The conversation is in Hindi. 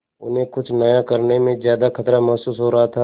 उन्हें कुछ नया करने में ज्यादा खतरा महसूस हो रहा था